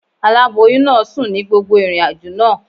Aláboyún náà sùn ní gbogbo ìrìnàjò náà.